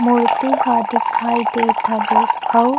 मूर्ति ह दिखाई देत हवे।